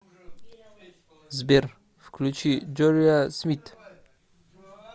сбер включи джориа смит